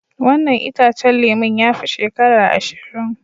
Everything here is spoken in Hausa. Wannan itacen lemun ya fi shekara ashirin.